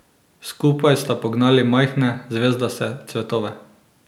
Skupaj sta pognali majhne, zvezdaste cvetove.